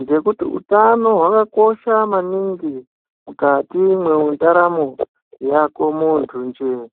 ngekuti hutano hwako yakakosha maningi mukati mendaramo yako muntu nje.